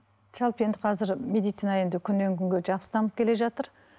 жалпы енді қазір медицина енді күннен күнге жақсы дамып келе жатыр